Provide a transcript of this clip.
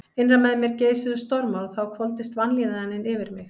Innra með mér geisuðu stormar og þá hvolfdist vanlíðanin yfir mig.